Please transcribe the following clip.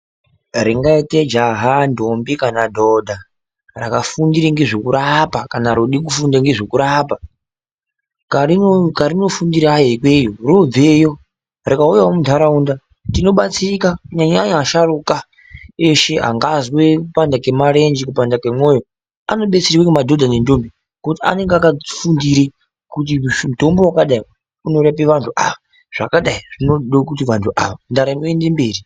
Ringaite jaha ndombi kana dhodha rakafundire ne zvekurapa kana rode kufunda ngezvekurapa, karinofundireyo ikweyo rinobveyo rikauyawo munharaunda tinobatsirika kunyanyanya vasharuka eshe angazwe kupanda kwemarenje kupanda kwemoyo ,anobetserwe ngemadhodha nendombi ngokuti anenge akafundire kuti mutombo wakadai uno rape vanhu ava ,zvakadai zvinode vanhu ava ndaramo yoende mberi.